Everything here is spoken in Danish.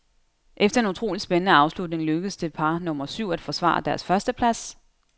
Efter en utrolig spændende afslutning lykkedes det par nummer syv at forsvare deres førsteplads.